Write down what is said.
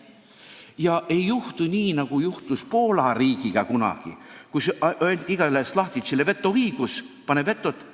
Ma loodan, et ei juhtu nii, nagu juhtus kunagi Poola riigis, kus anti igale šlahtitšile vetoõigus, et pane veto peale.